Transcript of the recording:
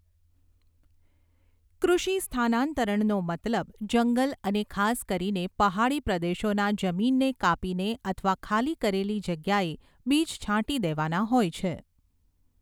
કૃષિ સ્થાનાન્તરણનો મતલબ જંગલ અને ખાસ કરીને પહાડી પ્રદેશોની જમીનને કાપીને અથવા ખાલી કરેલી જગ્યાએ બીજછાંટી દેવાના હોય છે.